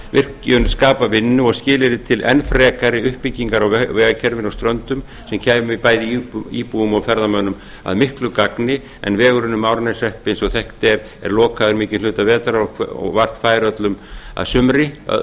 virkjun skapa vinnu og skilyrði til enn frekari uppbyggingar á vegakerfinu á ströndum sem kæmi bæði íbúum og ferðamönnum að miklu gagni en vegurinn um árneshrepp eins og þekkt er er lokaður mikinn hluta vetrar og vart fær öllum að sumri